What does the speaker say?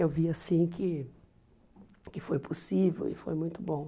Eu vi assim que que foi possível e foi muito bom.